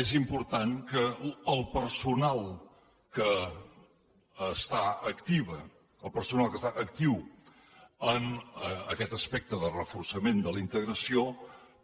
és important que el personal que està actiu en aquest aspecte de reforçament de la integració